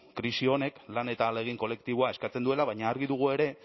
krisi honek lan eta ahalegin kolektiboa eskatzen duela baina argi dugu ere